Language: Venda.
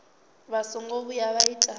vha songo vhuya vha ita